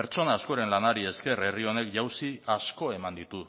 pertsona askoren lanari esker herri honek jauzi asko eman ditu